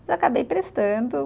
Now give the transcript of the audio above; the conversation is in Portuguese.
E acabei prestando.